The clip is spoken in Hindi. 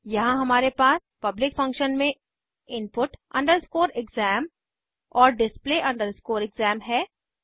यहाँ हमारे पास पब्लिक फंक्शन्स में input exam और display exam है